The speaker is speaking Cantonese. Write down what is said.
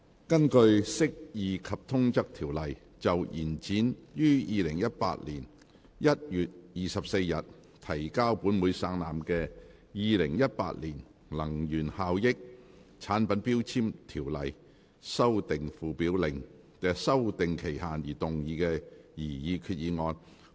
根據《釋義及通則條例》就延展於2018年1月24日提交本會省覽的《2018年能源效益條例令》的修訂期限而動議的擬議決議案。